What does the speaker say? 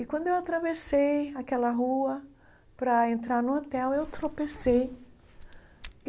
E quando eu atravessei aquela rua para entrar no hotel, eu tropecei.